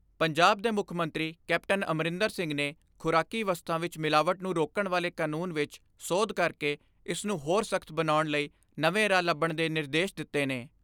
ਪੰਜਾਬ ਦੇ ਮੁੱਖ ਮੰਤਰੀ ਕੈਪਟਨ ਅਮਰਿੰਦਰ ਸਿੰਘ ਨੇ ਖੁਰਾਕੀ ਵਸਤਾਂ ਵਿਚ ਮਿਲਾਵਟ ਨੂੰ ਰੋਕਣ ਵਾਲੇ ਕਾਨੂੰਨ ਵਿੱਚ ਸੋਧ ਕਰਕੇ ਇਸ ਨੂੰ ਹੋਰ ਸਖਤ ਬਣਾਉਣ ਲਈ ਨਵੇਂ ਰਾਹ ਲੱਭਣ ਦੇ ਨਿਰਦੇਸ਼ ਦਿੱਤੇ ਨੇ।